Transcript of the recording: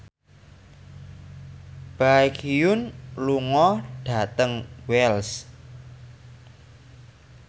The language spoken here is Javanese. Baekhyun lunga dhateng Wells